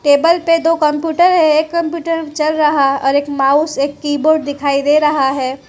Table पे दो computer है एक कंप्यूटर चल रहा है और एक माउस एक कीबोर्ड दिखाई दे रहा है।